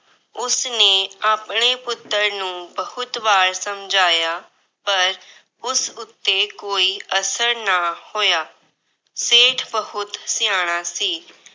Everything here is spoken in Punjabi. ਉਸਨੇ ਆਪਣੇ ਪੁੱਤਰ ਨੂੰ ਬਹੁਤ ਵਾਰ ਸਮਝਾਇਆ ਪਰ ਉਸ ਉਤੇ ਕੋਈ ਅਸਰ ਨਾ ਹੋਇਆ। ਸੇਠ ਬਹੁਤ ਸਿਆਣਾ ਸੀ।